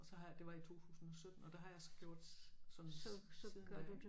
Og så har jeg det var i 2017 og der har jeg så gjort sådan siden da